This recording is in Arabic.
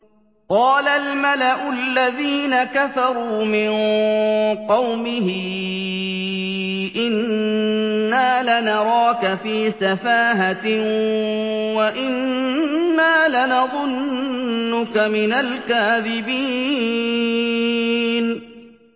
قَالَ الْمَلَأُ الَّذِينَ كَفَرُوا مِن قَوْمِهِ إِنَّا لَنَرَاكَ فِي سَفَاهَةٍ وَإِنَّا لَنَظُنُّكَ مِنَ الْكَاذِبِينَ